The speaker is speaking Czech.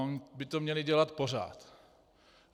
Oni by to měli dělat pořád.